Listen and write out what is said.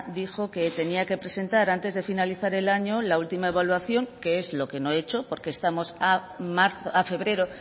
dijo que tenía que presentar antes de finalizar el año la última evaluación que es lo que no he hecho porque estamos a febrero